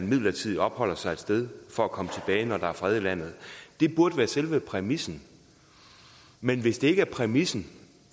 midlertidigt at opholde sig et sted for at komme tilbage når der er fred i landet det burde være selve præmissen men hvis det ikke er præmissen